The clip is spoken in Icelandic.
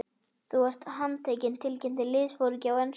Þú ert handtekinn tilkynnti liðsforinginn á ensku.